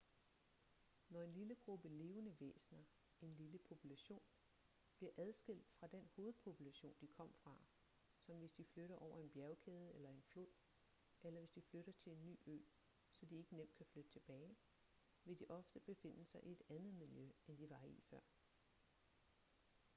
når en lille gruppe levende væsener en lille population bliver adskilt fra den hovedpopulation de kom fra som hvis de flytter over en bjergkæde eller en flod eller hvis de flytter til en ny ø så de ikke nemt kan flytte tilbage vil de ofte befinde sig i et andet miljø end de var i før